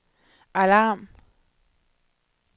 alarm